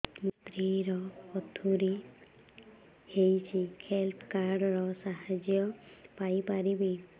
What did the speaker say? ମୋ ସ୍ତ୍ରୀ ର ପଥୁରୀ ହେଇଚି ହେଲ୍ଥ କାର୍ଡ ର ସାହାଯ୍ୟ ପାଇପାରିବି